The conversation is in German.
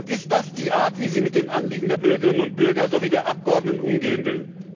Ist das die Art, wie sie mit den Anliegen der Bürgerinnen und Bürger sowie der Abgeordneten umgehen will?